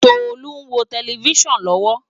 Tolu n wó tèlèfisán lòwò